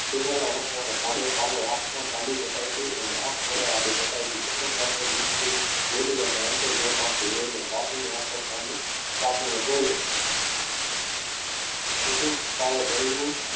પહેરેલા વસ્ત્રના સાદો પાલવ હાથમાં ચાલી બતાવતી અને આંખ વડે હાલી બતાવતી કુસુમ મુક્તિ બોલી અને અંતે કાકીની આંખો સામે કાકી ને જોઈ રહી કુસુમ તારે ડરવું